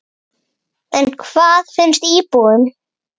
En hvað finnst íbúunum?